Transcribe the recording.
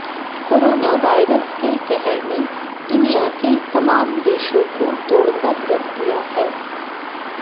corona virus के कहर ने दुनिया के तमाम देशों को तोड़कर रख दिया है